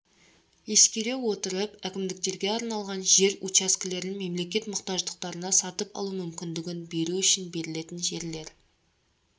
ескере отырып әкімдіктерге арналған жер учаскелерін мемлекет мұқтаждықтарына сатып алу мүмкіндігін беру үшін берілетін жерлер